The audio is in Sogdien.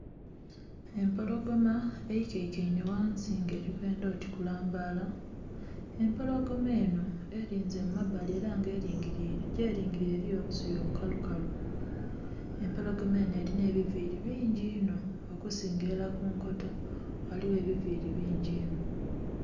Empologoma eikaikainhe ghansi nga eli kwendha oti kulambaala. Empologoma enho elinze mu mabbali ela nga elingiliile, gyelingiliile eliyo obusubi obukalukalu. Empologoma enho elinha ebiviili bingi inho okusingila ilala ku nkoto, ghaligho ebiviili bingi inho.